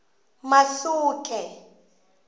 masuke